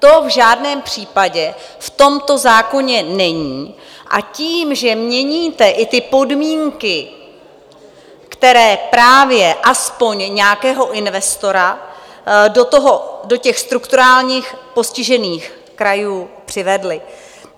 To v žádném případě v tomto zákoně není a tím, že měníte i ty podmínky, které právě aspoň nějakého investora do těch strukturálně postižených krajů přivedly.